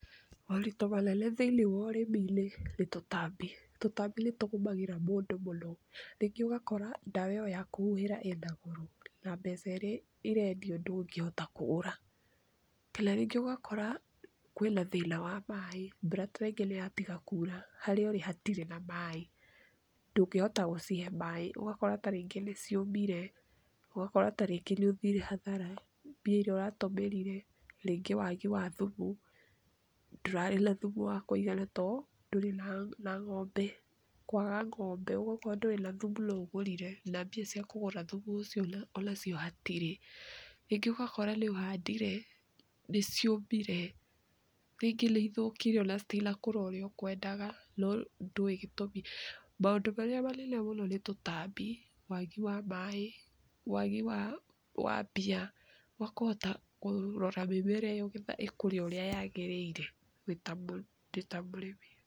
Moritũ manene thi-iniĩ wa ũrimi-inĩ ni tũtabi, tũtabi nĩ tũgũmagĩra mũndũ mũno, rĩngĩ ũgakora ndawa ĩyo yakũhuhĩra ĩna goro na mbeca iria ĩrendio ndũngĩhota kũgũra, kana rĩngĩ ũgakora kwĩna thĩna wa maĩ mbura ta rĩngĩ nĩyatiga kura, harĩa ũrĩ hatirĩ na maĩ, ndũngĩhota gũcihe maĩ ugakora tarĩngĩ nĩ ciũmire, ugakora tarĩngĩ nĩ ũthire hathara mbia iria ũratũmĩrire, rĩngĩ wagi wa thumu, ndũrarĩ na thumu wa kũigana too ndũrĩ na na ng'ombe, kwaga ng'ombe okorwo ndũrĩ na thumu no ũgũrire, na mbia cia kũgũra thumu ũcio onacio hatirĩ, rĩngĩ ũgakora nĩ ũhandire nĩ ciũmire, rĩngĩ nĩ ithũkire ona itinakũra ũrĩa ũkwendaga no ndũĩ gĩtũmi, maũndũ marĩa manene mũno nĩ tũtabi, wagi wa maĩ, wagi wa wa mbia, wa kũhota kũrora mĩmera iyo nĩgetha ĩkũre ũrĩa yagĩrĩire wĩta wita mũrĩmi.